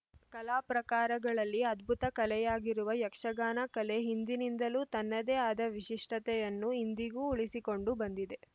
ಕಲಾಪ್ರಕಾರಗಳಲ್ಲಿ ಅದ್ಭುತ ಕಲೆಯಾಗಿರುವ ಯಕ್ಷಗಾನ ಕಲೆ ಹಿಂದಿನಿಂದಲೂ ತನ್ನದೇ ಆದ ವಿಶಿಷ್ಟತೆಯನ್ನು ಇಂದಿಗೂ ಉಳಿಸಿಕೊಂಡು ಬಂದಿದೆ